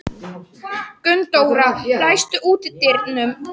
Gunndóra, læstu útidyrunum.